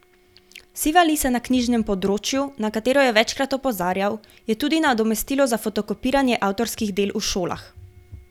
Siva lisa na knjižnem področju, na katero je večkrat opozarjal, je tudi nadomestilo za fotokopiranje avtorskih del v šolah.